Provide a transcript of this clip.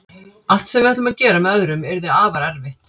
Allt sem við ætlum að gera með öðrum yrði afar erfitt.